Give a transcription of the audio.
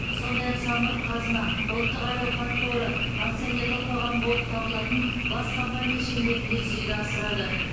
сондай ақ самұрық қазына ұлттық әл ауқат қоры акционерлік қоғамы болып табылатын бас компания шеңберінде жүзеге асырады